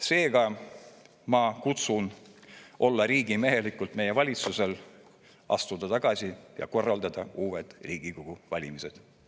Seega ma kutsun meie valitsust üles olema riigimehelik, astuma tagasi, ja korraldame uued Riigikogu valimised.